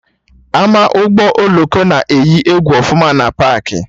Ama Ụgbọ oloko na eyi egwu ọfụma na paakị